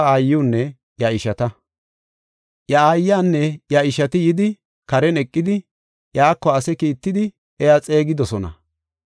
Iya aayanne iya ishati yidi karen eqidi, iyako ase kiittidi iya xeegidosona.